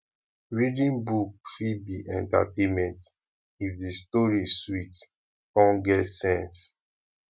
reading book fit be entertainment if the story sweet come get sense